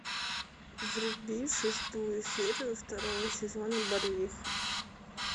вруби шестую серию второго сезона барвиха